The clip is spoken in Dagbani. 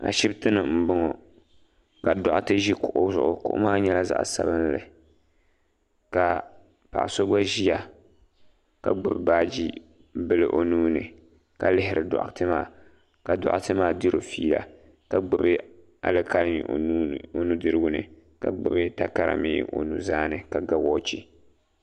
ashɛbitɛni n bɔŋɔ ka dutɛ ʒɛ kuɣ' zuɣ kuɣ' maa nyɛla sabinli ka paɣ' so gba ʒɛ ka gbabi baaji bili o nuni ka lihiri dutɛ maa ka dutɛ maa diro ƒɛɛla ka gbabi alikami o nudiriguni ka gbabi takari o nuzaani ka ga waachi